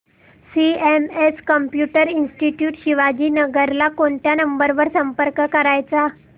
CMS computer institute Shivajinagar ला कोणत्या number वर संपर्क करायचा